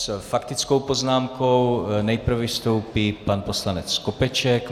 S faktickou poznámkou nejprve vystoupí pan poslanec Skopeček.